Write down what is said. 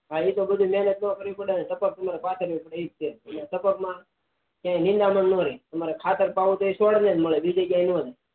હા એતો બધું મેહનત પડે ટપક માં માં એજ છે એટલે ટપકમાં કઈ નીદમણ ન ર્રે ખાતર પાવું હોય તો એ છોડ ને જ મળે